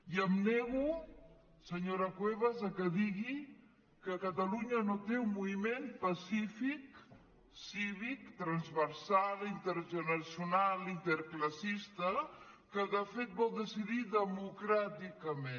i em nego senyora cuevas que digui que catalunya no té un moviment pacífic cívic transversal intergeneracional interclassista que de fet vol decidir democràticament